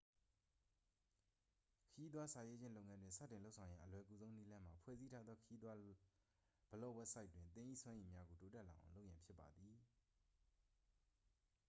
ခရီးသွားစာရေးခြင်းလုပ်ငန်းတွင် စတင်လုပ်ဆောင်ရန် အလွယ်ကူဆုံးနည်းလမ်းမှာ ဖွဲ့စည်းထားသော ခရီးသွားဘလော့ဝဘ်ဆိုက်တွင် သင်၏စွမ်းရည်များကို တိုးတက်လာအောင်လုပ်ရန်ဖြစ်ပါသည်